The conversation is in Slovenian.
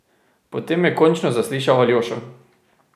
Potem je končno zaslišal Aljošo.